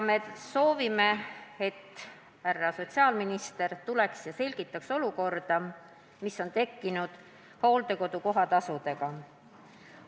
Me soovime, et härra sotsiaalminister tuleks ja selgitaks olukorda, mis on tekkinud hooldekodu kohatasude puhul.